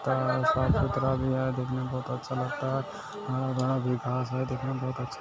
साफ सुथरा भी है देखने में भी अच्छा लगता है और देखने में बहुत अच्छा लगता है।